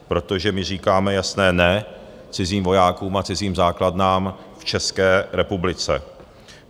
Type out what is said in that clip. Protože my říkáme jasné ne cizím vojákům a cizím základnám v České republice.